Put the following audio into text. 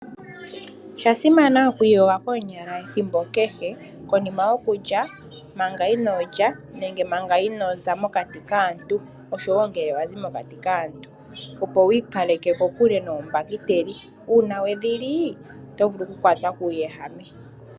Osha simana okwiiyoga koonyala ethimbo kehe, konima yokulya, manga inoo lya nenge manga inoo za mokati kaantu, osho wo ngele wa zi mokati kaantu, opo wu ikaleke kokule nombahiteli. Uuna we dhi li, oto vulu okukwatwa kuuwehame.